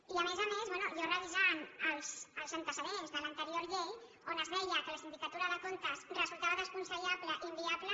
i a més a més bé jo revisant els antecedents de l’anterior llei on es deia que la sindicatura de comptes resultava desaconsellable i inviable